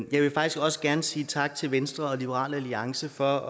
vil faktisk også gerne sige tak til venstre og liberal alliance for